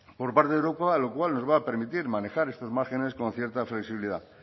por parte de europa lo cual nos va a permitir manejar estos márgenes con cierta flexibilidad